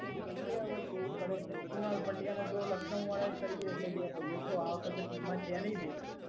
જોઈએ હવે કેવું કરે છે કુણાલ પંડ્યા ને તો લખનઉ વાળા એ ખરીદ્યો છે બે ભાઈઓ જો આ વખતે ટીમમાં છે નહીં ભેગા.